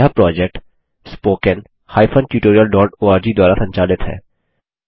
यह project httpspoken tutorialorg द्वारा संचालित है